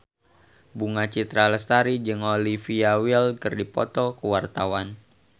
Bunga Citra Lestari jeung Olivia Wilde keur dipoto ku wartawan